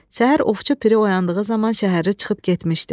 Səhər Ovçu Piri oyandığı zaman şəhərli çıxıb getmişdi.